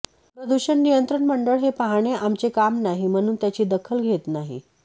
प्रदूषण नियंत्रण मंडळ हे पाहणे आमचे काम नाही म्हणून त्याची दखल घेत नाही